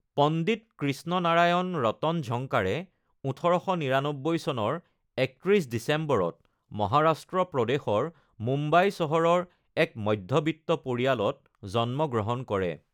পণ্ডিত Krishna Narayan Ratanjankar ১৮৯৯ চনৰ ৩১ ডিচেম্বৰত মহাৰাষ্ট্ৰ প্ৰদেশৰ মুম্বাই চহৰৰ এক মধ্যবিত্ত পৰিয়ালত জন্ম গ্ৰহণ কৰে।